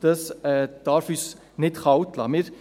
Dies darf uns nicht kalt lassen.